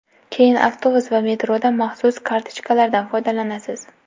Keyin avtobus va metroda maxsus kartochkalardan foydalanasiz.